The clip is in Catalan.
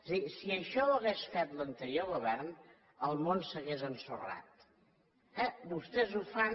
és a dir si això ho hagués fet l’anterior govern el món s’hauria ensorrat eh vostès ho fan